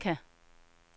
Mekka